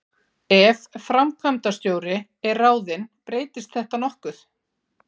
Ef framkvæmdastjóri er ráðinn breytist þetta nokkuð.